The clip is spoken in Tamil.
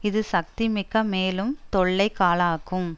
இது சக்தி மிக்க மேலும் தொல்லைகாளாக்கும்